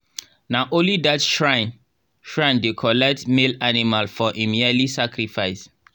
na only that shrine shrine dey collect male animal for im yearly sacrifice.